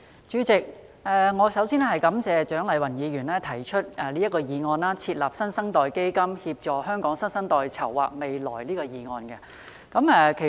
主席，蔣麗芸議員提出"設立新生代基金，協助香港新生代籌劃未來"的議案。